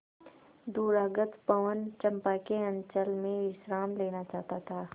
दूरागत पवन चंपा के अंचल में विश्राम लेना चाहता था